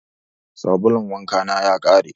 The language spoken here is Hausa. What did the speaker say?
Sabulun wanka na ya ƙare.